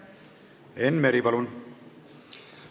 Enn Meri, palun!